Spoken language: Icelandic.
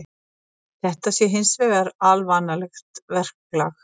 Þetta sé hins vegar alvanalegt verklag